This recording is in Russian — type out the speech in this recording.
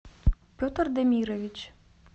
петр демирович